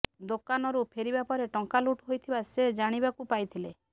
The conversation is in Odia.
ଦୋକାନରୁ ଫେରିବା ପରେ ଟଙ୍କା ଲୁଟ୍ ହୋଇଥିବା ସେ ଜାଣିବାକୁ ପାଇଥିଲେ